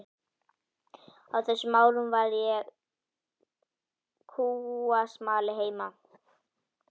Á þessum árum var ég kúasmali heima.